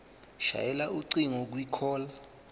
shayela ucingo kwicall